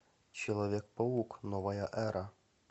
человек паук новая эра